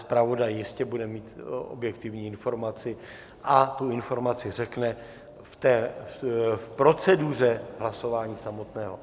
Zpravodaj jistě bude mít objektivní informaci a tu informaci řekne v proceduře hlasování samotného.